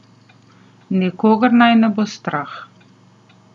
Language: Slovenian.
Nikogar naj ne bo strah.